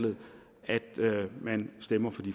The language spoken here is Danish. med at man stemmer